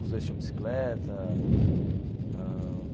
Os dois tinham bicicleta ãh.